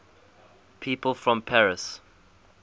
people from paris